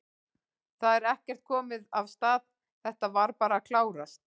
Það er ekkert komið af stað, þetta var bara að klárast?